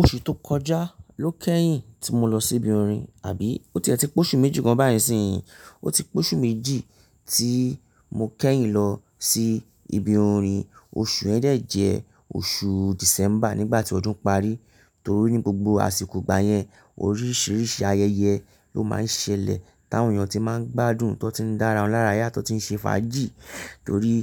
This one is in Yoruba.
Oṣù tó kọjá ló kẹ́yìn tí mo lọ sí ibi orin, àbí ó ti ẹ ti póṣù méjì gan báyìí siyìn. Ó ti póṣù méjì tí mo kẹ́yìn lọ sí ibi orin. Oṣù yen dẹ̀ jẹ oṣù December nígbà tí ọdún parí, torí ní gbogbo àsìkò ìgbà yẹn oríṣiríṣi ayẹyẹ ló má ń ṣẹlẹ̀ táwọn èèyàn tí má ń gbádùn tó ti ń dára won lára yá tó ti ń ṣe fàájì torí